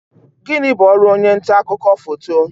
Gini bu ọrụ onye nta akụkọ foto?